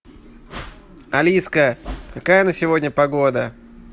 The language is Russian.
алиска какая на сегодня погода